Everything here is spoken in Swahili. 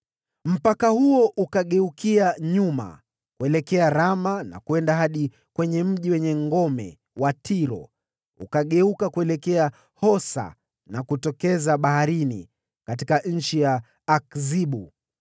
Mpaka huo ukageukia nyuma kuelekea Rama na kwenda hadi kwenye mji wenye ngome wa Tiro, ukageuka kuelekea Hosa na kutokeza baharini katika eneo la Akzibu,